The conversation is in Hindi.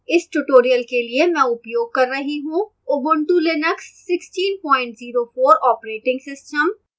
इस tutorial के लिए मैं उपयोग कर रही हूँ ubuntu linux 1604 operating system